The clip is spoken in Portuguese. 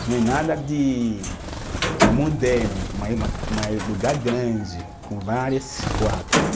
Não é nada de eh moderno, mas é, mas lugar grande, com vários quartos.